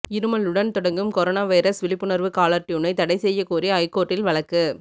இருமலுடன் தொடங்கும் corona virus விழிப்புணர்வு caller டியூனை தடை செய்ய கோரி ஐகோர்ட்டில் வழக்கு